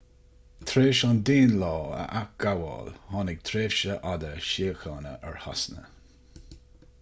tar éis an danelaw a athghabháil tháinig tréimhse fhada síochána ar shasana